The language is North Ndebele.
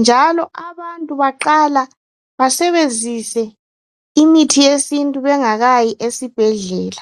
njalo abantu baqala basebenzise imithi yesintu bengakayi esibhedlela